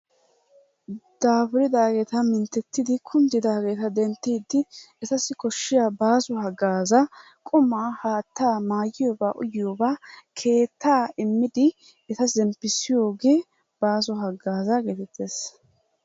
Daafuridaageeta mintettidi kunddiddaageeta denttiiddi etassi koshshiya baaso haggaazaa qummaa, haattaa, mayiyogaa uyiyoogaa keettaa immidi eta zemppissiyogee baaso haggaazaa geetettees.